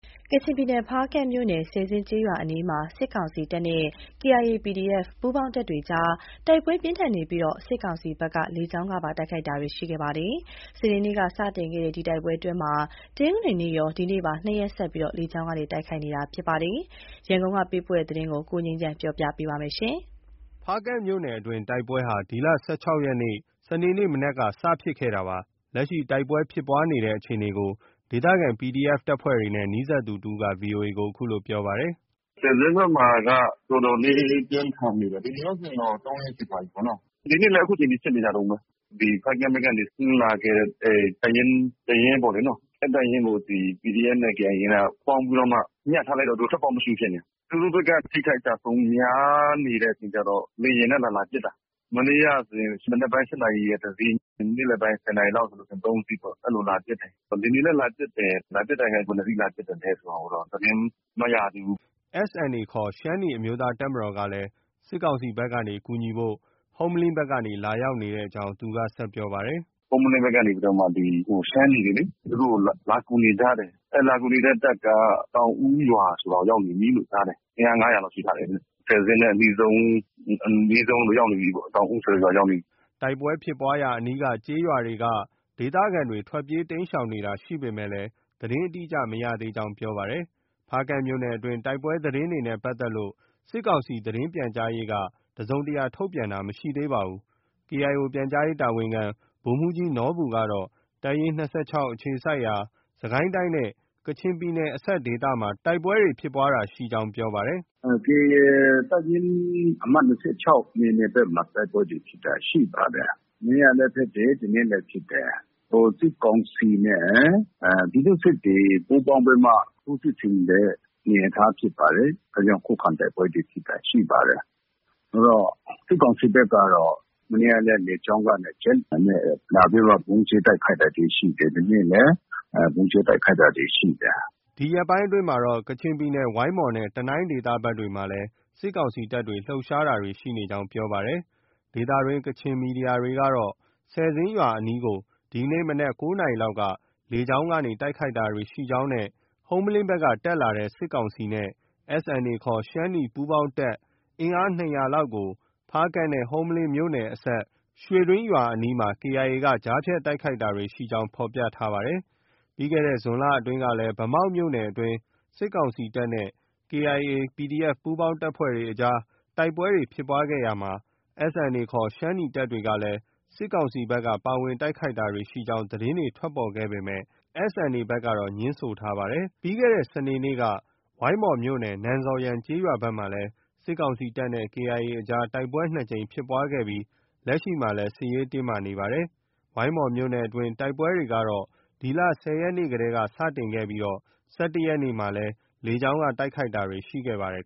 ကချင်ပြည်နယ် ဖားကန့်မြို့နယ် ဆယ်ဇင်းကျေးရွာအနီးမှာ စစ်ကောင်စီတပ်နဲ့ KIA ၊ PDF ပူးပေါင်း တပ်တွေကြား တိုက်ပွဲပြင်းထန်နေပြီး စစ်ကောင်စီဘက်က လေကြောင်းကပါ တိုက်ခိုက်နေပါတယ်။ စနေနေ့က စတင်ခဲ့တဲ့ ဒီတိုက်ပွဲအတွင်းမှာ တနင်္ဂနွေနေ့ကရော ဒီကနေ့ပါ ၂ ရက်ဆက် လေကြောင်းက တိုက်ခိုက်နေတာဖြစ်ပါတယ်။ ရန်ကုန်က လာတဲ့ ဒီသတင်းကို ကိုငြိမ်းချမ်းက တင်ပြပေးထားပါတယ်။ ဖားကန့်မြို့နယ်အတွင်း တိုက်ပွဲဟာ ဒီလ ၁၆ ရက်နေ့ စနေနေ့ မနက်က စတင်ဖြစ်ခဲ့တာပါ။ လက်ရှိ တိုက်ပွဲဖြစ်ပွားနေတဲ့အခြေအနေကို ဒေသခံ PDF တပ်ဖွဲ့တွေနဲ့ နီးစပ်သူတဦးက VOA ကို အခုလို ပြောပါတယ်။ “ ဆယ်ဇင်းဘက်မှာက တော်တော်လေး ပြင်းထန်နေတယ်။ ဒီနေ့ရောဆိုရင် တော့ ၃ ရက်ရှိသွားပြီပေါ့။ အခုချိန်ထိ ဖြစ်နေကြတုန်းပဲ။ ဖားကန့်ဘက်ကနေ ဆင်းလာခဲ့တဲ့တပ်ရင်း တရင်းပေါ့လေ။ အဲဒီတပ်ရင်းကို ဒီ PDF နဲ့ KIA က ပေါင်းပြီးတော့မှ ညှပ်ထားလိုက်တော့ သူတို့ ထွက်ပေါက်မရှိဘူး ဖြစ်နေတာ။ သူတို့ဘက်က အထိအခိုက်အကျအဆုံး များနေတော့ လေယာဉ်နဲ့ လာလာပစ်တာ။ မနေ့ကဆိုရင် မနက်ပိုင်း ၈ နာရီက တစီး၊ နေ့လည်ပိုင်း ၁၀ နာရီလောက်ဆို ၃ စီးပေါ့။ အဲလို လာပစ်တယ်။ ဒီနေ့လည်း လာပစ်တယ်။ လာပစ်တဲ့ဟာ ဘယ်နှစ်စီးလာပစ်တယ်ဆိုတာကိုတော့ သတင်းမရသေးဘူး။” SNA ခေါ် ရှမ်းနီးအမျိုးသားတပ်မတော်ကလည်း စစ်ကောင်စီတပ်ဘက်ကနေ ကူညီဖို့ ဟုမ္မလင်းဘက် ကနေ လာရောက်နေကြောင်းလည်း သူက ဆက်ပြောပါတယ်။ “ ဟုမ္မလင်းဘက်ကနေလေ ရှမ်းနီတွေ သူတို့ လာကူနေကြတယ်။ အဲဒီလာကူနေတဲ့တပ်က သောင်ဦးရွာရောက်နေပြီလို့ ကြားတယ်။ အင်အား ၅၀၀ လောက် ရှိထားတယ်တဲ့။ ဆယ်ဇင်းနဲ့အနီးဆုံး ရောက်နေပြီပေါ့။ သောင်ဦးဆိုတဲ့ရွာရောက်နေပြီ။” တိုက်ပွဲဖြစ်ပွားရာအနီးကျေးရွာက ဒေသခံတွေ ထွက်ပြေးတိမ်းရှောင်တာရှိပေမယ့် သတင်းအတိအကျ မရသေးကြောင်း ပြောပါတယ်။ ဖားကန့်မြို့နယ်တွင်း တိုက်ပွဲသတင်းတွေနဲ့ ပတ်သက်လို့ စစ်ကောင်စီ သတင်းပြန်ကြားရေးက တစုံတရာထုတ်ပြန်တာ မရှိသေးပါဘူး။ KIO ပြန်ကြားရေးတာဝန်ခံ ဗိုလ်မှူးကြီးနော်ဘူကတော့ တပ်ရင်း ၂၆ အခြေစိုက်ရာ စစ်ကိုင်းတိုင်းနဲ့ ကချင်ပြည်နယ်အစပ်ဒေသမှာ တိုက်ပွဲဖြစ်ပွားတာရှိကြောင်း ပြောပါတယ်။ “ KIA တပ်ရင်း အမှတ် ၂၆ နယ်မြေဘက်မှာ တိုက်ပွဲဖြစ်တာတွေ ရှိပါတယ်။ မနေ့ကလည်း ဖြစ်တယ်။ ဒီနေ့လည်းဖြစ်တယ်။ စစ်ကောင်စီနဲ့ ပြည်သူ့စစ်တွေ ပူးပေါင်းပြီးမှ ထိုးစစ်ဆင်တဲ့ အနေအထား ဖြစ်ပါတယ်။ ဒါကြောင့် ခုခံတိုက်ပွဲဖြစ် တာတွေ ရှိပါတယ်။ စစ်ကောင်စီဘက်ကတော့ မနေ့ကလည်း လေကြောင်းကနေ ဂျက်လေယာဉ်နဲ့ လာပြီးဗုံးကြဲ တိုက်ခိုက်တာတွေ ရှိတယ်။ ဒီနေ့လည်း ဗုံးကြဲတိုက်ခိုက်တာတွေ ရှိတယ်။” ဒီ ရက်ပိုင်းအတွင်းမှာတော့ ကချင်ပြည်နယ် ဝိုင်းမော်နဲ့ တနိုင်းဒေသဘက်တွေမှာလည်း စစ်ကောင်စီတပ်တွေ လှုပ်ရှားမှုတွေ ရှိနေကြောင်း ပြောပါတယ်။ ဒေသတွင်း ကချင်သတင်းမီဒီယာတွေကတော့ ဆယ်ဇင်းရွာအနီးကို ဒီနေ့ မနက် ၉ နာရီလောက်က လေကြောင်းကတိုက်ခိုက်တာရှိကြောင်းနဲ့ ဟုမ္မလင်းဘက်က တက်လာတဲ့ စစ်ကောင်စီနဲ့ SNA ခေါ် ရှမ်းနီ ပူးပေါင်းတပ် အင်အား ၂၀၀ လောက်ကို ဖားကန့်နဲ့ ဟုမ္မလင်းမြို့နယ်အစပ် ရွှေတွင်းရွာအနီးမှာ KIA က ကြားဖြတ်တိုက်ခိုက်တာတွေ ရှိကြောင်း ဖော်ပြထားပါတယ်။ ပြီးခဲ့တဲ့ဇွန်လအတွင်းကလည်း ဗန်းမောက်မြို့နယ်အတွင်း စစ်ကောင်စီတပ်နဲ့ KIA ၊ PDF ပူးပေါင်းတပ်တွေအကြား တိုက်ပွဲဖြစ်ပွားရာမှာ SNA ခေါ် ရှမ်းနီတပ်တွေက စစ်ကောင်စီဘက်က ပါဝင်တိုက်ခိုက်တာရှိကြောင်း သတင်းထွက်ပေါ်ခဲ့ပေမယ့် SNA ဘက်ကတော့ ငြင်းဆိုထားပါတယ်။ ပြီးခဲ့တဲ့ စနေနေ့က ဝိုင်းမော်မြို့နယ် နန်ဇော်ယန်ကျေးရွာဘက်မှာလည်း စစ်ကောင်စီတပ်နဲ့ KIA အကြား တိုက်ပွဲ ၂ ကြိမ်ဖြစ်ပွားခဲ့ပြီး လက်ရှိမှာလည်း စစ်ရေးတင်းမာလျက် ရှိနေပါတယ်။ ဝိုင်းမော်မြို့နယ်အတွင်း တိုက်ပွဲတွေကတော့ ဒီလ ၁၀ ရက်နေ့တည်းက စတင်ခဲ့ပြီး ၁၁ ရက်နေ့မှာ လေကြောင်းက တိုက်ခိုက်တာတွေ ရှိခဲ့ပါတယ်